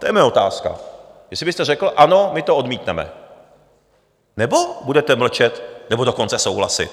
To je moje otázka, jestli byste řekl: Ano, my to odmítneme, nebo budete mlčet, nebo dokonce souhlasit?